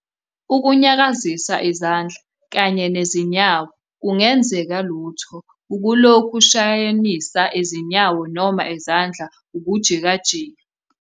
.ukunyakazisa izandla kanye nezinyawo kungenzeke lutho ukulokhu ushayanisa izinyawo noma izandla ukujikajika